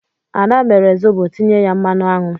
Ad mere Zobo tinye ya mmanụ aṅụ.